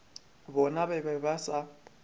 bona ba be ba sa